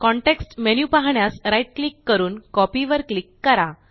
context menu पाहण्यास right click करून copy वर क्लिक करा